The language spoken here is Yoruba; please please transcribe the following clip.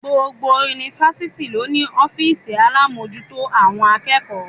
Gbogbo Yunifásitì ló ní ọ́fìsì alámòjútó àwọn akẹ́kọ̀ọ́.